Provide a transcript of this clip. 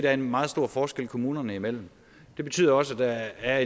er en meget stor forskel kommunerne imellem det betyder også at der er